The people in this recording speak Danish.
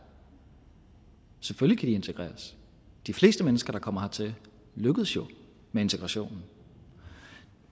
selvfølgelig integreres de fleste mennesker der kommer hertil lykkes jo med integrationen